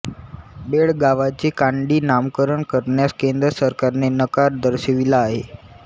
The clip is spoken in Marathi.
बेळगावांचे कानडी नामकरण करण्यास केंद्र सरकारने नकार दर्शविला आहे